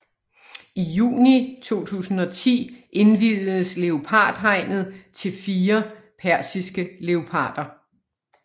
I juni 2010 indviedes leopardhegnet til fire persiske leoparder